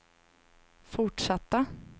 fortsatta